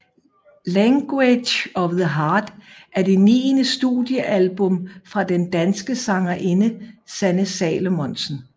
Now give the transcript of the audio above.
Language of the Heart er det niende studiealbum fra den danske sangerinde Sanne Salomonsen